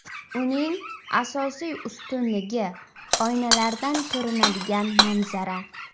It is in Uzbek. Uning asosiy ustunligi oynalardan ko‘rinadigan manzara.